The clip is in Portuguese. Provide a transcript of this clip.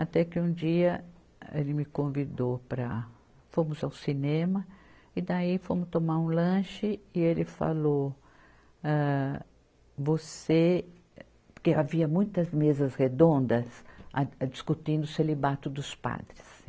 Até que um dia ele me convidou para, fomos ao cinema e daí fomos tomar um lanche e ele falou, âh, você, porque havia muitas mesas redondas discutindo o celibato dos padres.